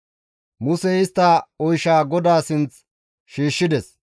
Musey istta oyshaa GODAA sinth shiishshides.